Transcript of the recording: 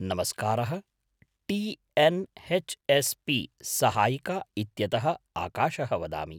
नमस्कारः T N H S P सहायिका इत्यतः आकाशः वदामि।